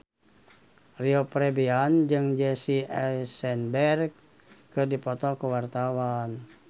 Rio Febrian jeung Jesse Eisenberg keur dipoto ku wartawan